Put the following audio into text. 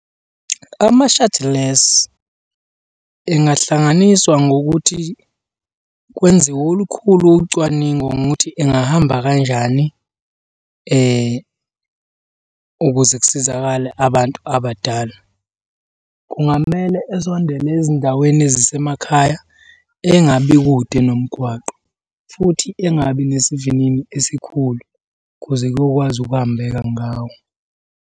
Ams-shuttles angahlanganiswa ngokuthi kwenziwe olukhulu ucwaningo ngokuthi engahamba kanjani ukuze kusizakale abantu abadala. Kungamele esondele ezindaweni ezisemakhaya engabi kude nomgwaqo, futhi engabi nesivinini esikhulu kuze kuyokwazi ukuhambeka ngawo.